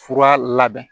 Fura labɛn